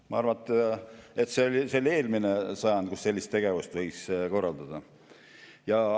Ma arvan, et see oli eelmine sajand, kui sellist tegevust võis nii korraldada.